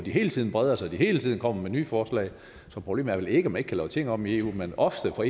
hele tiden breder sig og hele tiden kommer med nye forslag så problemet er vel ikke at man ikke kan lave tingene om i eu men ofte får